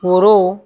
Foro